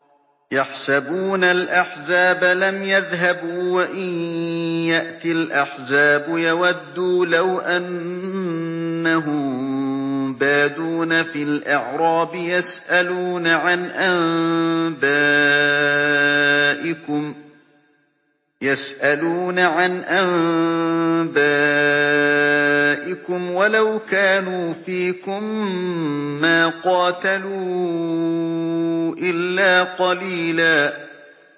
يَحْسَبُونَ الْأَحْزَابَ لَمْ يَذْهَبُوا ۖ وَإِن يَأْتِ الْأَحْزَابُ يَوَدُّوا لَوْ أَنَّهُم بَادُونَ فِي الْأَعْرَابِ يَسْأَلُونَ عَنْ أَنبَائِكُمْ ۖ وَلَوْ كَانُوا فِيكُم مَّا قَاتَلُوا إِلَّا قَلِيلًا